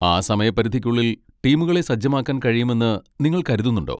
ആ സമയപരിധിക്കുള്ളിൽ ടീമുകളെ സജ്ജമാക്കാൻ കഴിയുമെന്ന് നിങ്ങൾ കരുതുന്നുണ്ടോ?